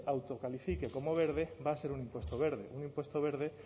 autocalifique como verde va a ser un impuesto verde un impuesto verde